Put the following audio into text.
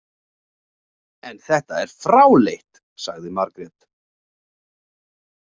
En þetta er fráleitt, sagði Margrét.